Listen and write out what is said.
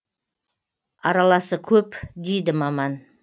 араласы көп дейді маман